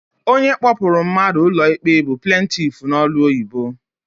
Onye kpọpụrụ mmadụ ụlọikpe bụ plentif n'olu ọyibo.